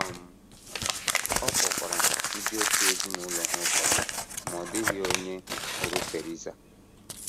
um Ọ kpọkwara ndị òtù ezinụlọ ha ụfọdụ, ma ọ dịghị onye hụrụ Theresa.